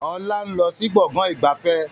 Ọlá ń lọ sí Gbọ̀ngán ìgbafẹ́